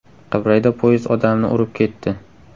Qibrayda poyezd odamni urib ketdi.